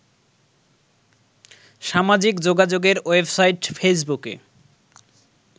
সামাজিক যোগাযোগের ওয়েবসাইট ফেসবুকে